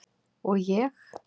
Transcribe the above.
Og ég?